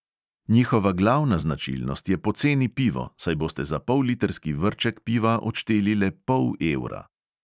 Njihova glavna značilnost je poceni pivo, saj boste za pollitrski vrček piva odšteli le pol evra.